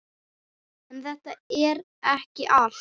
En þetta er ekki allt.